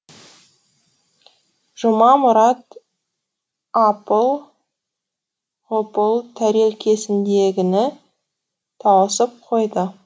жұмамұрат апыл ғұпыл тәрелкесіндегіні тауысып қойды